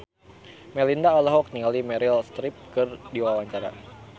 Melinda olohok ningali Meryl Streep keur diwawancara